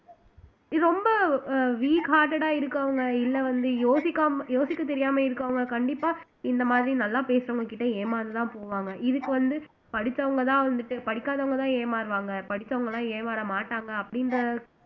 இது ரொம்ப இருக்கவங்க இல்ல வந்து யோசிக்காம யோசிக்க தெரியாம இருக்கிறவங்க கண்டிப்பா இந்த மாதிரி நல்லா பேசுறவங்ககிட்ட ஏமாந்துதான் போவாங்க இதுக்கு வந்து படிச்சவுங்கதான் வந்துட்டு படிக்காதவங்கதான் ஏமாறுவாங்க படிச்சவங்க எல்லாம் ஏமாற மாட்டாங்க அப்படின்ற